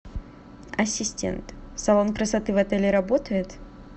ассистент салон красоты в отеле работает